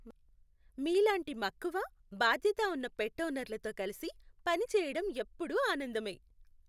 మీలాంటి మక్కువ, బాధ్యత ఉన్న పెట్ ఓనర్లతో కలిసి పనిచేయడం ఎప్పుడూ ఆనందమే.